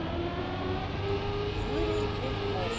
юрий лельков